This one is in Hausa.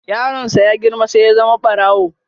Yaron sa ya girma sai ya zama barawo.